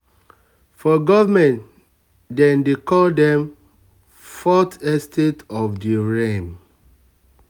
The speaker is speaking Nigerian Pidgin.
for government dem dey call them fourth estate of the realm.